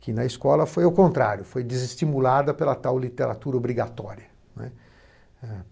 que na escola foi o contrário, foi desestimulada pela tal literatura obrigatória, né.